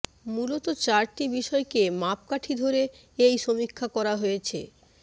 মূলত চারটি বিষয়কে মাপকাঠি ধরে এই সমীক্ষা করা হয়েছে